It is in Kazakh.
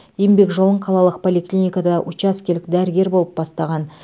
еңбек жолын қалалық поликлиникада учаскелік дәрігер болып бастаған